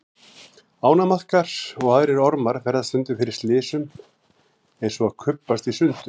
Ánamaðkar og aðrir ormar verða stundum fyrir slysum eins og að kubbast í sundur.